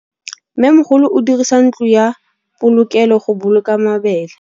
Mmêmogolô o dirisa ntlo ya polokêlô, go boloka mabele.